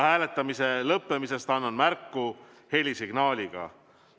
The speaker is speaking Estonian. Hääletamise lõppemisest annan märku helisignaaliga.